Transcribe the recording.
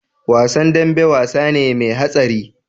Wasan dambe wasane me hatsari